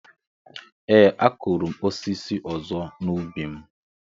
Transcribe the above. Ee, a kụrụ m osisi ọzọ n’ubi m.